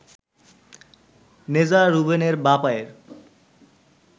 নেযা রুবেনের বাঁ পায়ের